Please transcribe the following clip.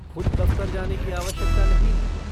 ख़ुद दफ़्तर जाने की आवश्यकता नहीं है।